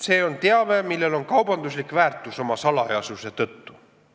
See on teave, millel on kaubanduslik väärtus oma salajasuse tõttu.